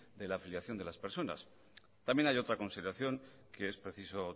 de la afiliación de las personas también hay otra consideración que es preciso